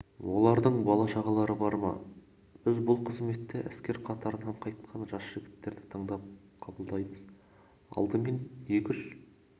олардың бала-шағалары бар ма біз бұл қызметте әскер қатарынан қайтқан жас жігіттерді таңдап қабылдаймыз алдымен екі-үш